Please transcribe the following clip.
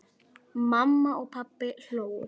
Mamma og pabbi hlógu.